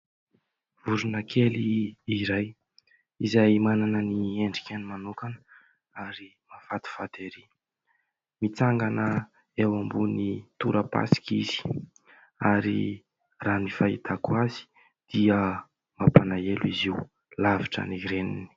Vorona kely iray, izay manana ny endriny manokana ary mahafatifaty ery, mitsangana eo ambonin'ny tora-pasika izy ary raha ny fahitako azy dia mampalahelo izy io, lavitra ny reniny.